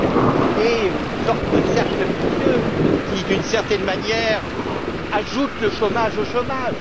Il est une sorte de cercle vicieux qui, d'une certaine manière, ajoute le chômage au chômage.